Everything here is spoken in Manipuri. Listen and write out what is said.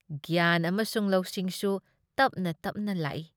ꯒ꯭ꯌꯥꯥꯟ ꯑꯃꯁꯨꯡ ꯂꯧꯁꯤꯡꯁꯨ ꯇꯞꯅ ꯇꯞꯅ ꯂꯥꯛꯏ ꯫